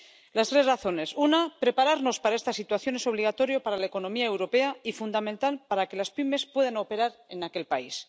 Las tres razones una, prepararnos para esta situación es obligatorio para la economía europea y fundamental para que las pymes puedan operar en aquel país